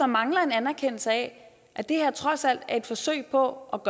mangler en anerkendelse af at det her trods alt er et forsøg på